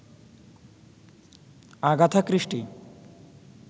Agatha Christie